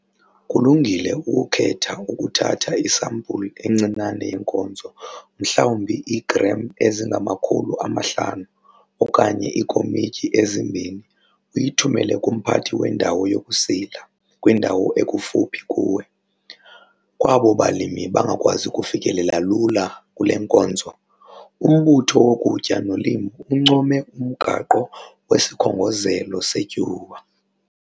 Kulungile ukukhetha ukuthatha isampulu encinane yeenkozo mhlawumbi i-500 g okanye iikomityi ezi-2 uyithumele kumphathi wendawo yokusila kwindawo ekufuphi kuwe. Kwabo balimi bangakwazi ukufikelela lula kule nkonzo, uMbutho woKutya noLimo uncoma uMgaqo wesiKhongozelo seTyuwa.